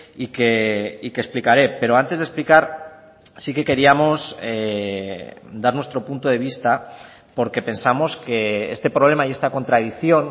y que explicaré pero antes de explicar sí que queríamos dar nuestro punto de vista porque pensamos que este problema y esta contradicción